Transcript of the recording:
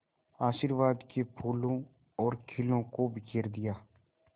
आशीर्वाद के फूलों और खीलों को बिखेर दिया